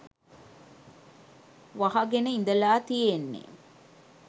වහගෙන ඉඳලා තියෙන්නේ.